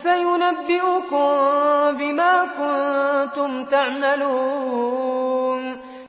فَيُنَبِّئُكُم بِمَا كُنتُمْ تَعْمَلُونَ